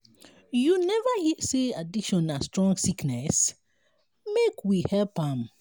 you neva hear sey addiction na strong sickness? make we help am.